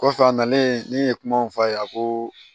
Kɔfɛ a nalen ne ye kumaw fɔ a ye ko